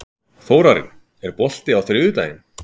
Þórarinn, er bolti á þriðjudaginn?